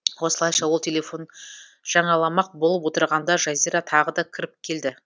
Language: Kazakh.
осылайша ол телефон жаңаламақ болып отырғанда жазира тағы да кіріп келді